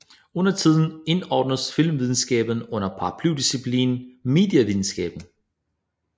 Undertiden indordnes filmvidenskaben under paraplydisciplinen medievidenskab